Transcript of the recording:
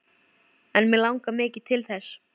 En mig langar mikið til þess.